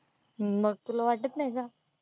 हम्म मग तुला वाटत नाही का?